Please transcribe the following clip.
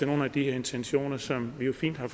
nogle af de intentioner som vi jo fint har